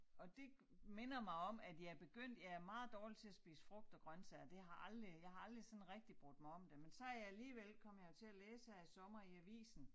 Og det minder mig om at jeg begyndt på jeg er meget dårlig til at spise frugt og grøntsager det har aldrig jeg har aldrig sådan rigtig brudt mig om det men så jeg alligevel kom jeg jo til at læse her i sommer i avisen